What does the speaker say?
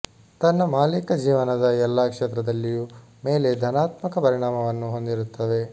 ತನ್ನ ಮಾಲೀಕ ಜೀವನದ ಎಲ್ಲಾ ಕ್ಷೇತ್ರದಲ್ಲಿಯೂ ಮೇಲೆ ಧನಾತ್ಮಕ ಪರಿಣಾಮವನ್ನು ಹೊಂದಿರುತ್ತವೆ